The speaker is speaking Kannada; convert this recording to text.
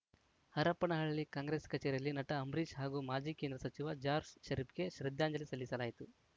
ಹರಪನಹಳ್ಳಿ ಕಾಂಗ್ರೆಸ್‌ ಕಚೇರಿಯಲ್ಲಿ ನಟ ಅಂಬರೀಷ್‌ ಹಾಗೂ ಮಾಜಿ ಕೇಂದ್ರ ಸಚಿವ ಜಾರ್ಜ್ ಷರೀಫ್‌ಗೆ ಶ್ರದ್ಧಾಂಜಲಿ ಸಲ್ಲಿಸಲಾಯಿತು